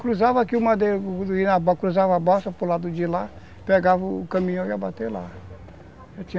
Cruzava aqui o madeiro, cruzava a balsa para o lado de lá, pegava o caminhão e ia ia bater lá, eu tinha